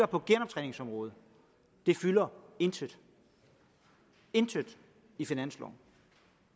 på genoptræningsområdet det fylder intet intet i finansloven